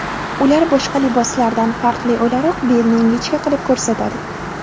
Ular boshqa liboslardan farqli o‘laroq belni ingichka qilib ko‘rsatadi.